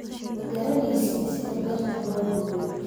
ma garanaysid sida beerta loo gooyo